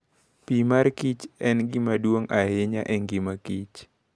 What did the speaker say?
Pi makichr en gima duong' ahinya e ngima Kich.